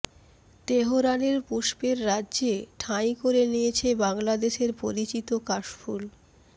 তেহরানের পুষ্পের রাজ্যে ঠাঁই করে নিয়েছে বাংলাদেশের পরিচিত কাশফুল